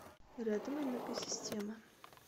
рядом энергосистемы